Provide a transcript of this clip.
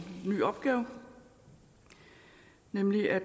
ny opgave nemlig at